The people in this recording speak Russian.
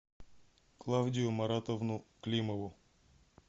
клавдию маратовну климову